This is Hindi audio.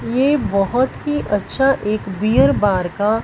ये बहोत ही अच्छा एक बीयर बार का--